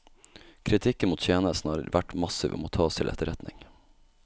Kritikken mot tjenesten har vært massiv og må tas til etterretning.